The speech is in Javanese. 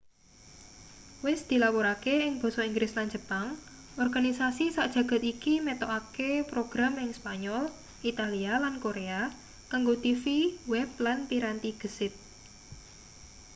wis dilapurake ing basa inggris lan jepang organisasi sak jagad iki metokake program ing spanyol italia lan korea kanggo tv web lan piranti gesit